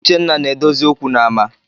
Uchenna na-edozi okwu n’ama